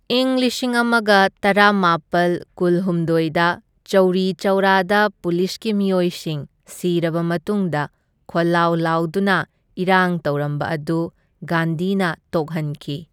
ꯏꯪ ꯂꯤꯁꯤꯡ ꯑꯃꯒ ꯇꯔꯥꯃꯥꯄꯜ ꯀꯨꯜꯍꯨꯝꯗꯣꯢꯗ ꯆꯧꯔꯤ ꯆꯧꯔꯥꯗ ꯄꯨꯂꯤꯁꯀꯤ ꯃꯤꯑꯣꯏꯁꯤꯡ ꯁꯤꯔꯕ ꯃꯇꯨꯡꯗ ꯈꯣꯜꯂꯥꯎ ꯂꯥꯎꯗꯨꯅ ꯏꯔꯥꯡ ꯇꯧꯔꯝꯕ ꯑꯗꯨ ꯒꯥꯟꯙꯤꯅ ꯇꯣꯛꯍꯟꯈꯤ꯫